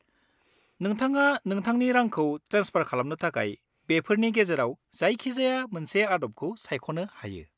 नोंथाङा नोंथांनि रांखौ ट्रेन्सफार खालामनो थाखाय बेफोरनि गेजेराव जायखिजाया मोनसे आदबखौ सायख'नो हायो।